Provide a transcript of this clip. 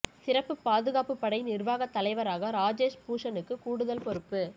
சிறப்பு பாதுகாப்பு படை நிா்வாகத் தலைவராக ராஜேஷ் பூஷணுக்கு கூடுதல் பொறுப்பு